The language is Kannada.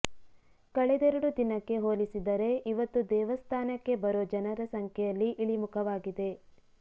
ಕಳೆದೆರಡು ದಿನಕ್ಕೆ ಹೊಲಿಸಿದರೆ ಇವತ್ತು ದೇವಸ್ಥಾನಕ್ಕೆ ಬರೋ ಜನರ ಸಂಖ್ಯೆಯಲ್ಲಿ ಇಳಿಮುಖವಾಗಿದೆ